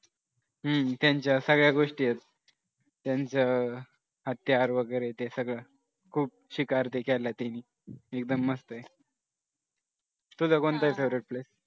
हम्म त्यांच्या सगळ्या गोष्टी आहेत त्यांचं हत्यार वगैरे हे सगळं शिकार ते मी एकदम मस्त आहे तुझं कोणतं आहे favorite place